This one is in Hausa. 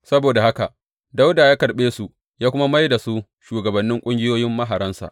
Saboda haka Dawuda ya karɓe su ya kuma mai da su shugabannin ƙungiyoyin maharansa.